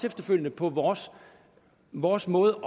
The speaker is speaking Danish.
efterfølgende på vores vores måde